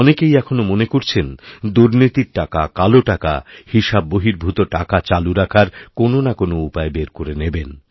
অনেকেইএখনও মনে করছেন দুর্নীতির টাকা কালো টাকা হিসাববহির্ভূত টাকা চালু রাখার কোনওনা কোনও উপায় বের করে নেবেন